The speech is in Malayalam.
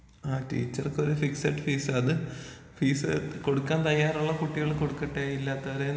ആ ടീച്ചർക്ക് ഒരു ഫിക്സിഡ് ഫീസ് അത് ഫീസ് കൊടുക്കാൻ തയ്യാറുള്ള കുട്ടികൾ കൊടുക്കട്ടെ ഇല്ലാത്തൊരീന്ന്.